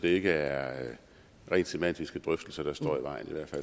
ikke er rent semantiske drøftelser der står i vejen